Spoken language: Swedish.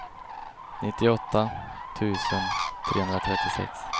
nittioåtta tusen trehundratrettiosex